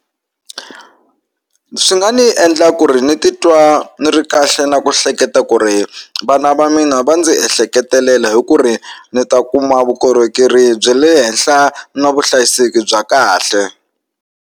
Swi nga ni endla ku ri ni titwa ni ri kahle na ku hleketa ku ri vana va mina va ndzi ehleketelela hi ku ri ni ta kuma vukorhokeri bya le henhla na vuhlayiseki bya kahle.